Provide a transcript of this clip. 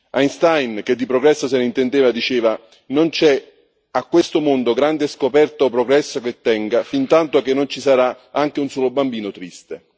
Einstein, che di progresso se ne intendeva, diceva non c'è, a questo mondo, grande scoperta o progresso che tenga, fintanto che ci sarà anche un solo bambino triste.